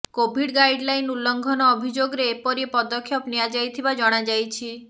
Covid guideline ଉଲ୍ଲଙ୍ଘନ ଅଭିଯୋଗରେ ଏପରି ପଦକ୍ଷେପ ନିଆଯାଇଥିବା ଜଣାଯାଇଛି